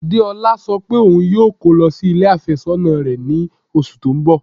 Deọla sọ pé ọún yóò kọ́ lọ sí ilẹ̀ afésònà rẹ̀ ní ọṣù tó n bọ̀.